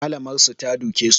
Malamar su ta duke su